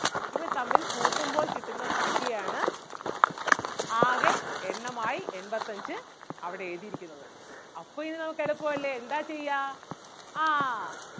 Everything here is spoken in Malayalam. ഇവ തമ്മിൽ കൂട്ടുമ്പോൾ കിട്ടുന്ന സംഖ്യ ആണ് ആകെ എണ്ണമായി എൺപത്തഞ്ച് അവിടെഴുതിയിരിക്കുന്നത് അപ്പം ഇനി നമുക്ക് എളുപ്പം അല്ലേ എന്താ ചെയ്യാ ആഹ്